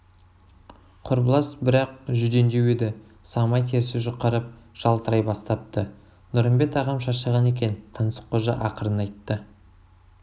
құрбылас бірақ жүдендеу еді самай терісі жұқарып жалтырай бастапты нұрымбет ағам шаршаған екен таңсыққожа ақырын айтты